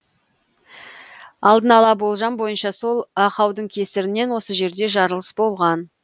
алдын ала болжам бойынша сол ақаудың кесірінен осы жерде жарылыс болған